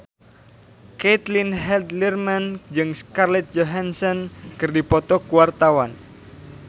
Caitlin Halderman jeung Scarlett Johansson keur dipoto ku wartawan